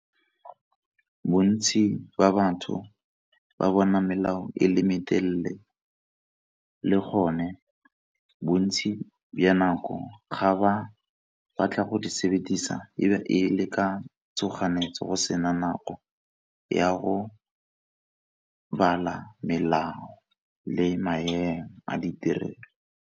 Bontsi ba batho, ba bona melao e le metelele, le gone bontsi ba nako ga ba batla go di sebedisa e be e le ka tshoganyetso go sena nako ya go bala melao, le maemo a diterena.